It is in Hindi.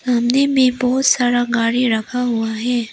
सामने में बहुत सारा गाड़ी रखा हुआ है।